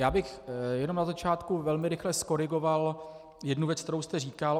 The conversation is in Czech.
Já bych jenom na začátku velmi rychle zkorigoval jednu věc, kterou jste říkal.